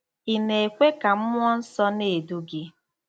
Ị̀ Na-ekwe Ka Mmụọ Nsọ Na-edu Gị?